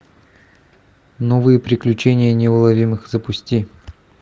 новые приключения неуловимых запусти